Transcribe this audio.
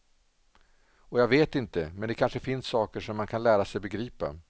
Och jag vet inte, men det kanske finns saker som man kan lära sig begripa.